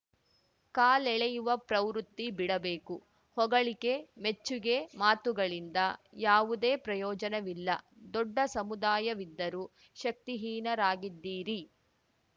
ಕಾಲೆಳೆಯುವ ಪ್ರವೃತ್ತಿ ಬಿಡಬೇಕು ಹೊಗಳಿಕೆ ಮೆಚ್ಚುಗೆ ಮಾತುಗಳಿಂದ ಯಾವುದೇ ಪ್ರಯೋಜನವಿಲ್ಲ ದೊಡ್ಡ ಸಮುದಾಯವಿದ್ದರೂ ಶಕ್ತಿಹೀನರಾಗಿದ್ದೀರಿ